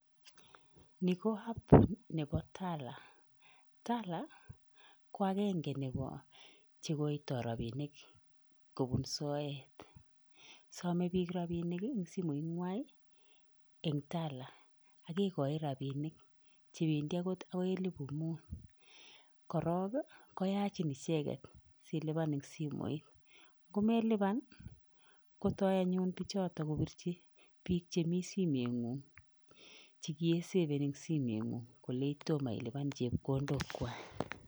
Nii ko app nebo Tala, Tala ko akeng'e chekoitoi rabinik kobun soet, somee biik rabinik en simoinywan en Tala akekoi rabinik chebendi okot akoi elibu muut, korok koyachin icheketsiliban en simoit, nko meliban kotoi anyun bichoton kobirchi biik chemii simoing'ung chekiisefen en simoing'ung kolei tomo iliban chepkondokwak.